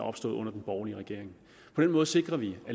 opstået under den borgerlige regering på den måde sikrer vi at